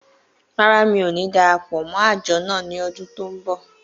Rárá, mi ò ní dara pọ̀ mọ́ àjọ náà ní ọdún tó ń bọ̀.